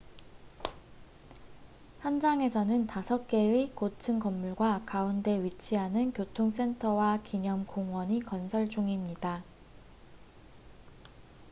현장에서는 다섯 개의 고층 건물과 가운데 위치하는 교통 센터와 기념 공원이 건설 중입니다